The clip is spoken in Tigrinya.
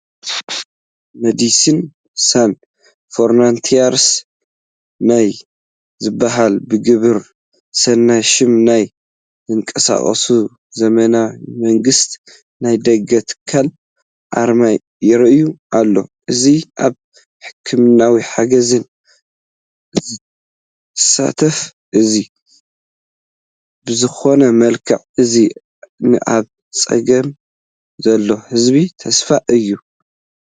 መዲሲንስ ሳን ፍሮንታየርስ ናይ ዝብሃል ብግብረ ሰናይነት ሽም ናይ ዝንቀሳቐስ ዘይመንግስታዊ ናይ ደገ ትካል ኣርማ ይርአ ኣሎ፡፡ እዚ ኣብ ሕክምናዊ ሓገዛት ዝሳተፍ እዩ፡፡ ብዝኾነ መልክዑ እዚ ንኣብ ፀገም ዘሎ ህዝቢ ተስፋ እዩ፡፡